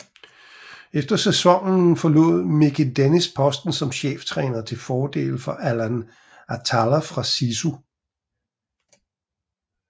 Efter sæsonen forlod Mickey Dennis posten som cheftræner til fordel for Alain Attallah fra SISU